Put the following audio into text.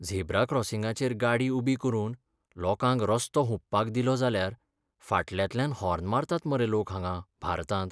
Zebra क्रॉसिंगाचेर गाडी उबी करून लोकांक रस्तो हुंपपाक दिलो जाल्यार फाटल्यांतल्यान हॉर्न मारतात मरे लोक हांगां भारतांत.